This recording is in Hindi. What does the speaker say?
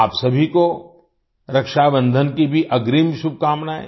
आप सभी को रक्षाबंधन की भी अग्रिम शुभकामनाएं